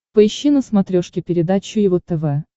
поищи на смотрешке передачу его тв